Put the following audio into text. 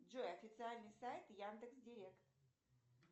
джой официальный сайт яндекс директ